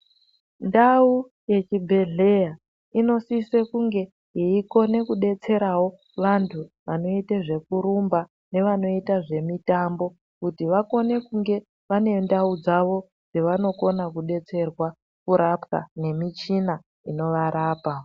Ndau yechibhedhlera inosise kunge yeikone kudetserawo vantu vanoite zvekurumba nevanoita zvemitambo kuti vakone kunge vaine ndau dzavo dzavanokone kudetserwa kurapwa nemichina inovarapa.